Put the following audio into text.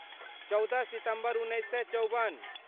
चौदह सितम्बर उन्नैस सए चौबन